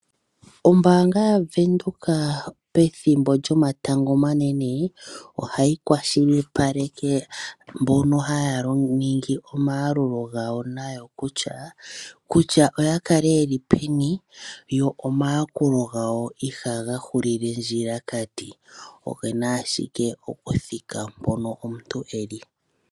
Ombaanga ya venduka pethimbo lyomatango omanene, oya tseyithile mbo ka ha ya lo githa oma Yakult gawo kutya oya kale yeli peni yo oma rakulo gawo iha ga hile ondjilakati, ogena adhike okuthika mpoka yeli.